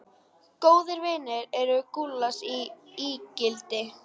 Góðir vinir eru gulls ígildi.